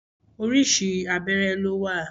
Orísìí abẹ́rẹ́ ló wà.